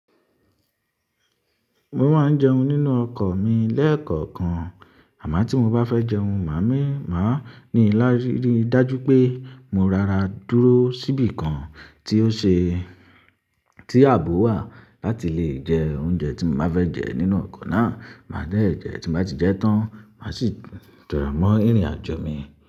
Mo máa ń jẹun nínú ọkọ̀ mi lẹ́ẹ̀kọ̀kan, àmọ́ tí mo bá fẹ́ jẹun, màá mí, màá ní láì rí i dájú pé mo rara dúró síbi kan tí ó ṣe, tí àbò wà láti le jẹ oúnjẹ tí mo báa fẹ́ jẹ nínú ọkọ̀ náà. Màá dẹ̀ jẹ, tí mo bá ti jẹ tán, màá sì jọ̀rọ̀ mọ́ ìrìn-àjò mi.